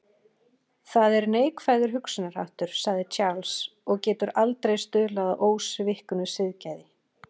Það er neikvæður hugsunarháttur, sagði Charles, og getur aldrei stuðlað að ósviknu siðgæði.